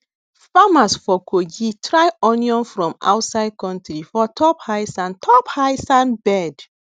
farmers for kogi try onion from outside country for top high sand top high sand bed